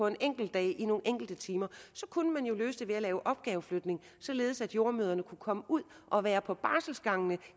en enkelt dag i nogle enkelte timer kunne man jo løse den ved at lave opgaveflytning således at jordemødrene kunne komme ud og være på barselgangene